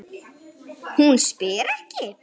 Hún spyr ekki.